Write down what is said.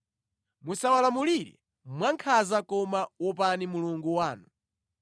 Musawalamulire mwankhanza koma wopani Mulungu wanu.